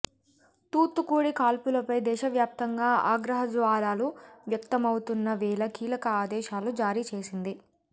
తూత్తుకుడి కాల్పులపై దేశవ్యాప్తంగా ఆగ్రహజ్వాలలు వ్యక్తమవుతున్న వేళ కీలక ఆదేశాలు జారీచేసింది